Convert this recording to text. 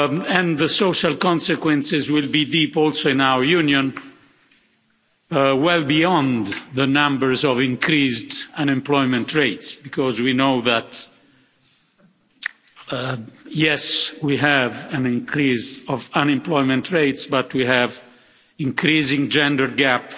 And the social consequences will be deep also in our Union, well beyond the numbers of increased unemployment rates because we know that, yes we have an increase of unemployment rates, but we have increasing gender gap,